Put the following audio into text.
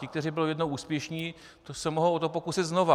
Ti, kteří byli jednou úspěšní, se o to mohou pokusit znova.